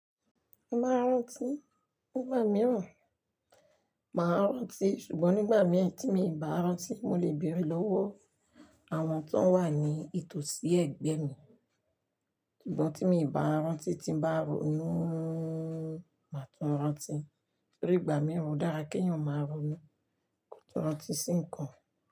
Màá rántí nígbà mìíràn. Màá rántí ṣùgbọ́n nígbà mìíràn tí mi bàá rántí, mo lè bèèrè lọ́wọ́ àwọn tó ń wà ní ìtòsí ẹ̀gbẹ́ mi. Ṣùgbọ́n tí mi bàá rántí tí bá ronú máa tún rántí torí ìgbà mìíràn ó dára kí ènìyàn máa ronú kó tún rántí sí ǹkan.